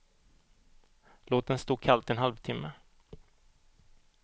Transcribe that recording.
Låt den stå kallt en halvtimme.